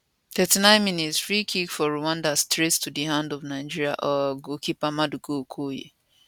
39mins free kickfor rwanda straight to di hand of nigeria um goalkeeper maduka okoye